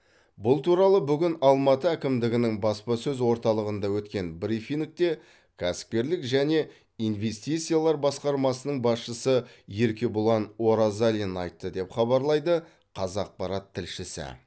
бұл туралы бүгін алматы әкімдігінің баспасөз орталығында өткен брифингте кәсіпкерлік және инвестициялар басқармасының басшысы еркебұлан оразалин айтты деп хабарлайды қазақпарат тілшісі